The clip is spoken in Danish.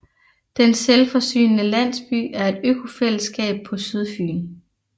Den Selvforsynende Landsby er et økobofællesskab på Sydfyn